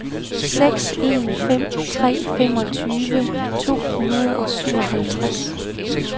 seks en fem tre femogtyve to hundrede og syvoghalvtreds